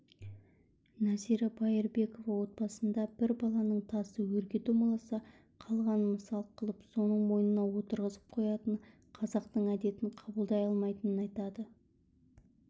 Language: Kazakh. нәзира байырбекова отбасында бір баланың тасы өрге домаласа қалғанын масыл қылып соның мойнына отырғызып қоятын қазақтың әдетін қабылдай алмайтынын айтады